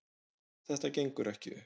Þetta gengur ekki upp